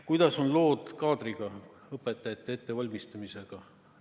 Kuidas on lood kaadriga, õpetajate ettevalmistamisega?